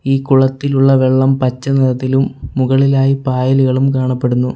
ഈ കുളത്തിലുള്ള വെള്ളം പച്ച നിറത്തിലും മുകളിലായി പായലുകളും കാണപ്പെടുന്നു.